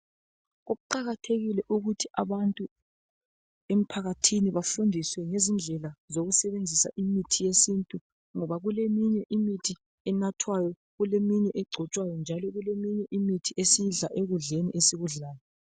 Kuqakathekile ukuthi abantu emphakathini bafundiswe ngezindlela zokusebenzisa mithi yesintu, ngoba kuleminye imithi enathwayo. Kuleminye egcotshwayo. Kuleminye esiyidla ekudleni esikudlayo.